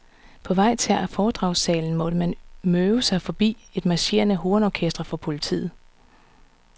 På vej til foredragssalen måtte man møve sig forbi et marcherende hornorkester fra politiet.